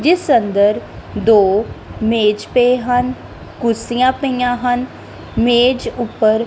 ਜਿਸ ਅੰਦਰ ਦੋ ਮੇਜ ਪੇ ਹਨ ਕੁਰਸੀਆਂ ਪਈਆਂ ਹਨ ਮੇਜ ਉੱਪਰ।